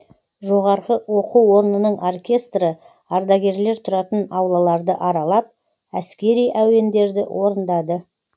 жоғары оқу орнының оркестрі ардагерлер тұратын аулаларды аралап әскери әуендерді орындады